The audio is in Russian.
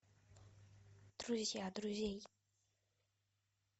друзья друзей